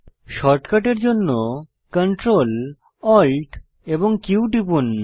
শর্টকাটের জন্য Ctrl Alt এবং Q টিপুন